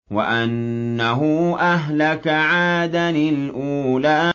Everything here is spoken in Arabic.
وَأَنَّهُ أَهْلَكَ عَادًا الْأُولَىٰ